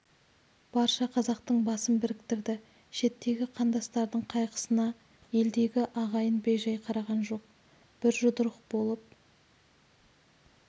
барша қазақтың басын біріктірді шеттегі қандастардың қайғысына елдегі ағайын бей-жай қараған жоқ бір жұдырық болып